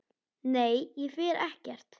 Nei, ég fer ekkert.